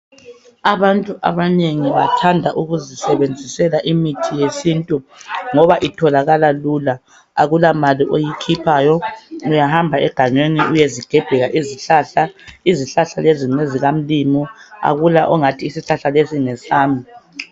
Abantu abanengi bathanda ukuzisebenzisela imithi yesintu, ngoba itholakala lula. Akulamali oyikhuphayo. Uyahamba egangeni, uyezigebhela izihlahla. Izihlahla lezi, ngezikaMlimu. Akula, ongathi isihlahla lesi ngesami.